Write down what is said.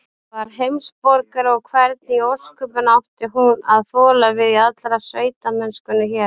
Var heimsborgari, og hvernig í ósköpunum átti hún að þola við í allri sveitamennskunni hér?